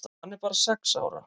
Hann er bara sex ára.